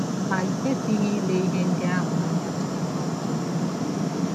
Ma i kwesịghị ile ihe ndị ahụ anya ka ihe ọjọọ.